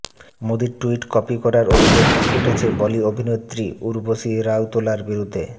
মোদির tweet copy করার অভিযোগ উঠেছে বলি অভিনেত্রী উর্বশী রাউতোলার বিরুদ্ধে